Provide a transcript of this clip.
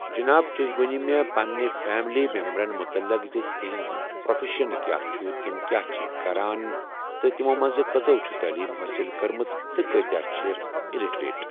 جِناب تُہۍ ؤنِو مےٚ پننہِ فیملی مٮ۪مبٲرَن متلق زِ تِہنٛز پرٛافٮ۪شَن کیٛاہ چُھ تمہٕ کیاہ چھِ کران تہٕ تمو منٛز کٔژو چھِ تعلیٖم حٲصِل کٔرمٕژ تہٕ کۭتیٛاہ چھِ اِلٹرٛیٹ۔